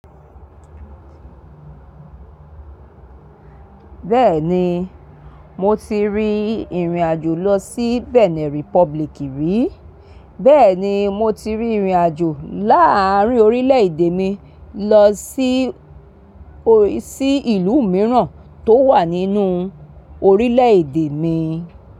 Bẹ́ẹ̀ni, mo ti rí ìrìn-àjò lọ sí Benin Republic rí. Bẹ́ẹ̀ ni mo ti rín ìrìn-àjò láàárín orílẹ̀-èdè mi lọ sí, sí ìlú mìíràn tó wà nínú orílẹ̀-èdè mi.